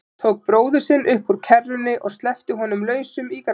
Tók bróður sinn upp úr kerrunni og sleppti honum lausum í grasið.